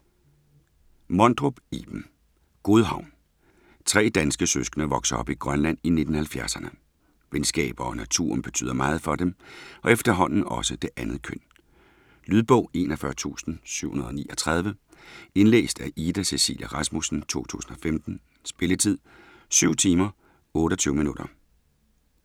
Mondrup, Iben: Godhavn Tre danske søskende vokser op i Grønland i 1970'erne. Venskaber og naturen betyder meget for dem, og efterhånden også det andet køn. Lydbog 41739 Indlæst af Ida Cecilia Rasmussen, 2015. Spilletid: 7 timer, 28 minutter.